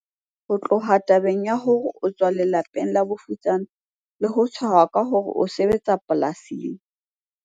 Ho tloha tabeng ya hore o tswa lela peng la bofutsana le ho tshehwa ka hore o sebetsa polasing,